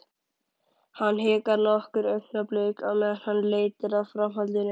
Hann hikar nokkur augnablik á meðan hann leitar að framhaldinu.